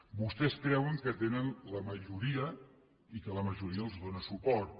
vostès creuen que tenen la majoria i que la majoria els dóna suport